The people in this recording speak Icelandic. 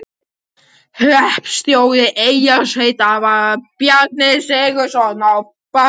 Hreppstjóri Eyrarsveitar var Bjarni Sigurðsson á Berserkseyri.